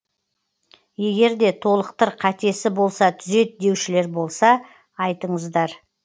егерде толықтыр қатесі болса түзет деушілер болса айтыңыздар